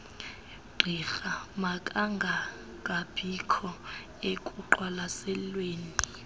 gqirha makangangabikho ekuqwalaselweni